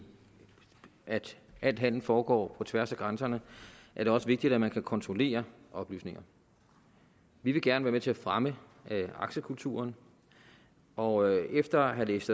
at al handel foregår på tværs af grænserne er det også vigtigt at man kan kontrollere oplysninger vi vil gerne være med til at fremme aktiekulturen og efter at have læst